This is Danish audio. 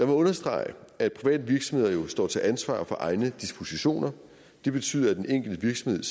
mig understrege at private virksomheder jo står til ansvar for egne dispositioner det betyder at den enkelte virksomhed